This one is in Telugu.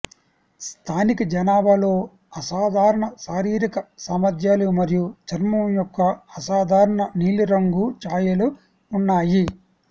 స్థానిక జనాభాలో అసాధారణ శారీరక సామర్ధ్యాలు మరియు చర్మం యొక్క అసాధారణ నీలి రంగు ఛాయలు ఉన్నాయి